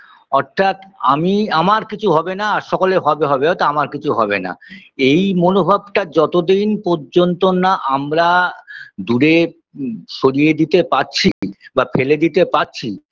অর্থাৎ আমি আমার কিছু হবে না আর সকলের হবে হবে হয়তো আমার কিছু হবে না এই মনোভাবটা যতদিন পর্যন্ত না আমরা দূরে সরিয়ে দিতে পারছি বা ফেলে দিতে পারছি